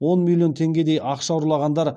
он миллион теңгедей ақша ұрлағандар жұрттың жағасын ұстатты